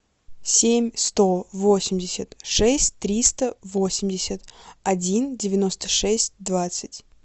семь сто восемьдесят шесть триста восемьдесят один девяносто шесть двадцать